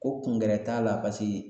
Ko kungɛrɛ t'a la paseke